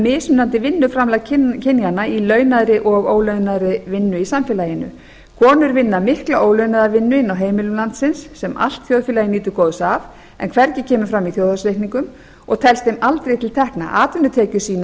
mismunandi vinnuframlag kynjanna í launaðri og ólaunaðri vinnu í samfélaginu konur vinna mikla ólaunaða vinnu inni á heimilum landsins sem allt þjóðfélagið nýtur góðs af en hvergi kemur fram í þjóðhagsreikningum og telst þeim aldrei til tekna atvinnutekjurnar sýna